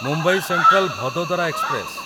Mumbai central Vadodara express